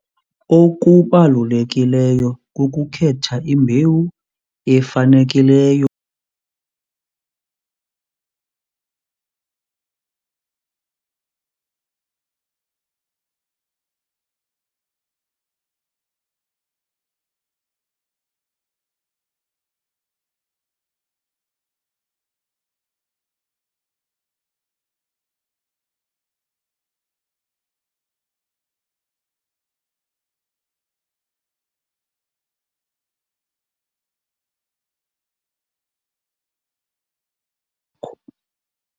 Okubalulekileyo kukukhetha imbewu efanekileyo.